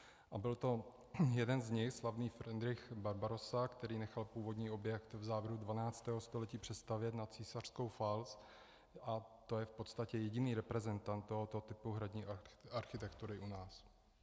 A byl to jeden z nich, slavný Fridrich Barbarossa, který nechal původní objekt v závěru 12. století přestavět na císařskou falc, a to je v podstatě jediný reprezentant tohoto typu hradní architektury u nás.